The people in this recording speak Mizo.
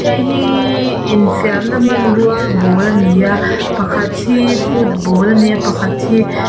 hei hiiii infiamna hmanrua ball a ni a pakhat hi football a ni a pakhat hi--